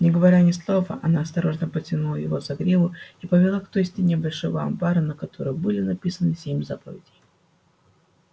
не говоря ни слова она осторожно потянула его за гриву и повела к той стене большого амбара на которой были написаны семь заповедей